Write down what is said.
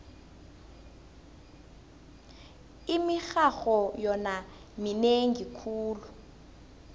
imirharho yona minengi khulu